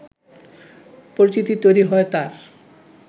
পরিচিতি তৈরি হয় তাঁর